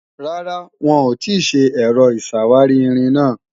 Rárá, wọn ò tì ṣe Ẹ̀rọ ìṣàwárí-irin náà